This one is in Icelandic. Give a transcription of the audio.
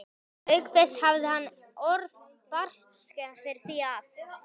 Auk þess hafði hann orð bartskerans fyrir því að